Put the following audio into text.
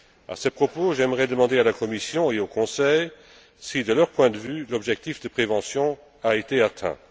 À ce propos, j'aimerais demander à la Commission et au Conseil si, de leur point de vue, l'objectif de prévention a été atteint.